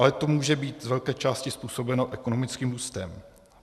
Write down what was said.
Ale to může být z velké části způsobeno ekonomickým růstem.